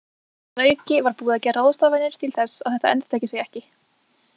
Að auki var búið að gera ráðstafanir til að þetta endurtæki sig ekki.